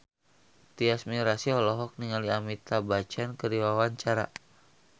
Tyas Mirasih olohok ningali Amitabh Bachchan keur diwawancara